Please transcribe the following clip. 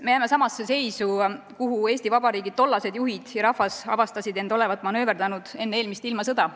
Me jääme samasse seisu, kuhu Eesti Vabariigi tollased juhid ja rahvas avastasid olevat ennast manööverdanud enne eelmist ilmasõda.